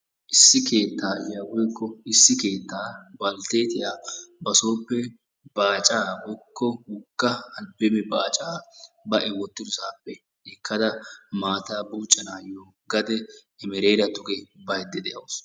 issi keettayiya woykko issi keetta balteettiya basooppe baacaa/wogga albbeeme baacaa ba wotidosaappe ekkada maataa buuccanaassi gade emereera bayda de'awusu.